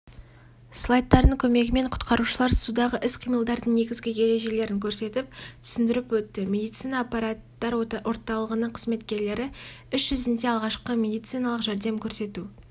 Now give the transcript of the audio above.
слайдтардың көмегімен құтқарушылар судағы іс-қимылдардың негізгі ережелерін көрсетіп түсінідіріп өтті медицина апаттар орталығының қызметкерлері іс-жүзінде алғашқы медициналық жәрдем көрсету